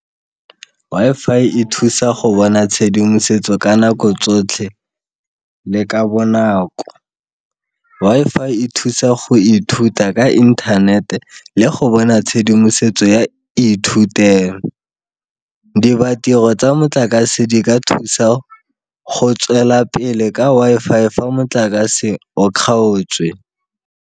Wi-Fi e thusa go bona tshedimosetso ka nako tsotlhe le ka bonako. Wi-Fi e thusa go ithuta ka internet le go bona tshedimosetso ya ithutelo tsa motlakase di ka thusa go tswela pele ka Wi-Fi fa motlakase o kgaotswe.